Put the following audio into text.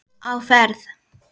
Á ferð